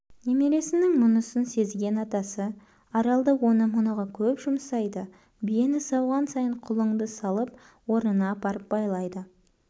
немересінің мұнысын сезген атасы аралды оны-мұныға көп жұмсайды биені сауған сайын құлыңды салып орнына апарып байлайды